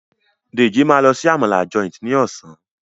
Deji ma ló sì Àmàlà Joint ní Ọ̀sán.